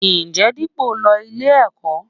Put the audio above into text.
Ǹjẹ́ Dípọ̀ ń lọ ilé-ẹ̀kọ́?